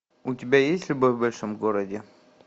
у тебя есть любовь в большом городе